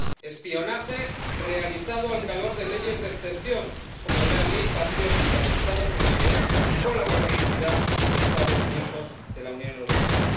Espionaje realizado al calor de leyes de excepción, como la Ley Patriótica de los Estados Unidos, y con la complicidad de Estados miembros de la Unión Europea.